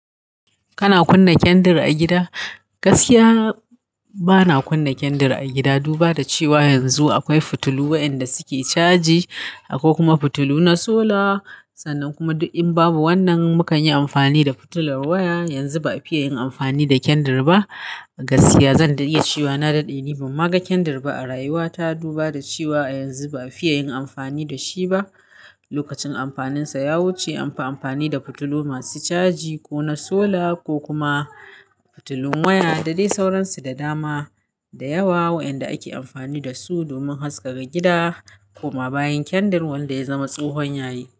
Kana kunna kendir a gida? Gaskiya bana kunna kendir a gida, duba da cewa yanzu akwai fitilu wayanda suke caji, akwai kuma fitilu na solar. Sannan kuma in babu wannan, mukanyi amfani da fitilan waya. Gaskiya bana kunna kendir a gida, duba da cewa yanzu akwai fitilu wayanda suke caji, akwai kuma fitilu na solar. Gasliya zan dai iya cewa na dade ni ban ma ga kendir a rayuwata duba da cewa yanzu ba afiye yin amfani da shi lokacin amfaninsa ya wuce anfi amfani da fitilu masu caji ko na sola ko kuma fitilun waya, da dai sauransu da dama. Da yawa wayanda ake amfani da su domin haskaka gida, kuma bayan kendar wanda ya zama tsohon yayi.